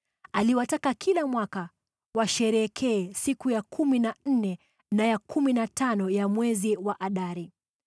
akiwataka kila mwaka washerehekee siku ya kumi na nne na ya kumi na tano ya mwezi wa Adari